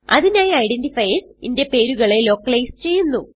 അതിനായി ഐഡന്റിഫയർസ് ന്റെ പേരുകളെ ലോക്കലൈസ് ചെയ്യുന്നു